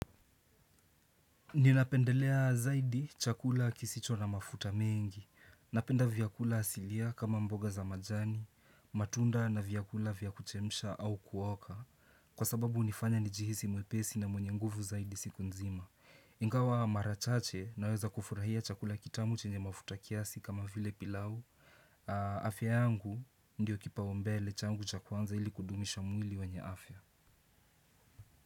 Ninapendelea zaidi chakula kisicho na mafuta mengi. Napenda vyakula asilia kama mboga za majani, matunda na vyakula vya kuchemsha au kuoka kwa sababu hunifanya nijihisi mwepesi na mwenye nguvu zaidi siku nzima. Ingawa mara chache naweza kufurahia chakula kitamu chenye mafuta kiasi kama vile pilau. Afya yangu ndiyo kipaumbele changu cha kwanza ili kudumisha mwili wenye afya.